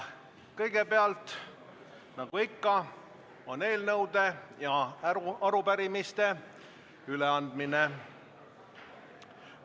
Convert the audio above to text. Kõigepealt on nagu ikka eelnõude ja arupärimiste üleandmine.